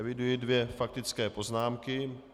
Eviduji dvě faktické poznámky.